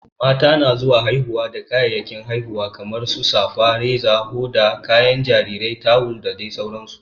Mata na zuwa haihuwa da kayayyakin haihuwa kamar safa, Reza, hoda, kayan jarirai, tawul da sauran su.